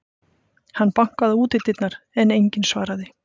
Hann bankaði á útidyrnar, en enginn svaraði.